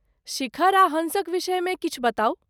शिखर आ हॅंसक विषयमे किछु बताउ।